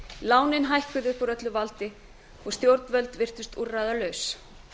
lánin hækkuðu upp úr öllu valdi og stjórnvöld virtust úrræðalaus